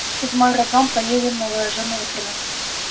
седьмой роддом поедем новоажимова тринадцать